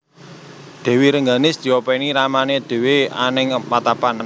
Dèwi Rengganis diopèni ramané dhéwé anèng patapan